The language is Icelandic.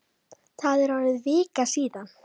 Það er orðin vika síðan.